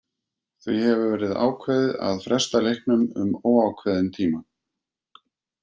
Því hefur verið ákveðið að fresta leiknum um óákveðinn tíma.